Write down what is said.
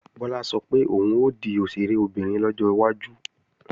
Bọ́lá sọ pé òun ó di òṣèré obìnrin lọ́jọ́ iwájú